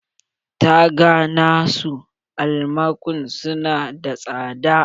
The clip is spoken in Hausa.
Taga na su almakun su na da tsada